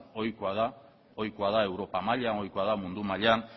ohikoa da europa maila ohikoa da mundu mailan